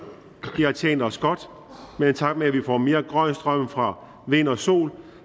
det har tjent os godt men i takt med at vi får mere grøn strøm fra vind og sol